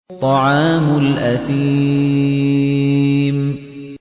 طَعَامُ الْأَثِيمِ